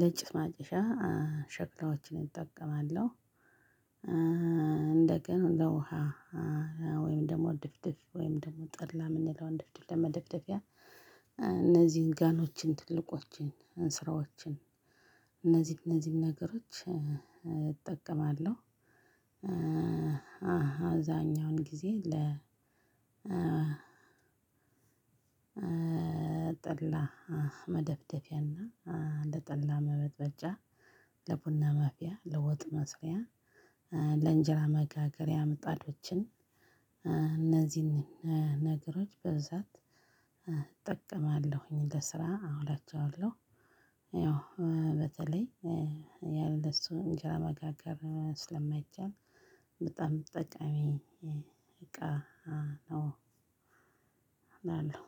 ለጭስ ማጨሻያ ሸክላዎችን እጠቀማለሁ። እንደገና እንደውሃ ወይም ድፍድፍ ወይም ጠላ የምንለውን ድፍድፍ ለመደፋደፊያ እነዚህን ጋኖችን ትልቆችን ስራዎችን እነዚህን እነዚህን ነገሮች እጠቀማለሁ። አለው አብዛኛውን ጊዜ ለ ጠላ መደፋደፊያና ለጠላ መበጥበጫ ለቡና ማፍሊያ ለወጥ መስሪያ ለእንጀራ መጋገሪያ ምጣጆችን እነዚህን ነገሮች እጠቀማለሁ ለስራ እላችኋለሁ። ያው አብዛኛውን ያለሱ እንጀራ መጋገር ስለማይቻል በጣም ጠቃሚ እቃ ነው። እላለሁ